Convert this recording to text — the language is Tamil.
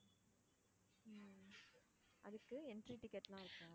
உம் அதுக்கு entry ticket லாம் இருக்கா?